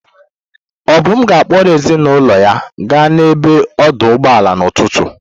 Obum ga-akpọrọ ezinụlọ ya gaa n'ebe odoo ụgbọala n'ụtụtụ.